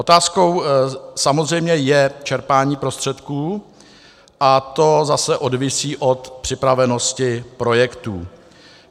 Otázkou samozřejmě je čerpání prostředků a to zase závisí na připravenosti projektů.